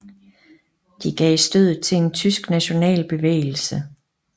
De gav stødet til en tysk national bevægelse